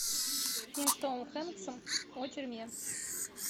фильм с томом хэнксом о тюрьме